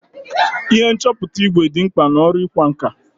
Ihe nchọpụta ìgwè dị mkpa n'ọrụ ịkwa nkà.